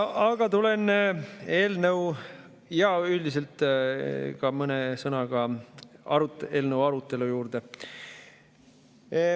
Aga tulen eelnõu ja mõne sõnaga ka eelnõu arutelu juurde.